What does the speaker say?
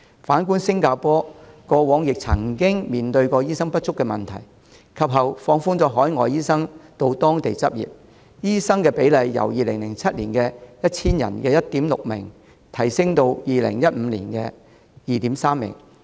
反觀新加坡過往亦曾經面對醫生不足的問題，及後放寬海外醫生到當地執業，醫生比例由2007年的 1,000 人中的 1.6 名，提升至2015年的 2.3 名。